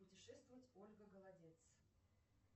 путешествовать ольга голодец